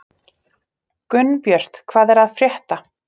Gunnbjört, hvað er að frétta?